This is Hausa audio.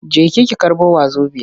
Jeki ki karɓo wazobiya!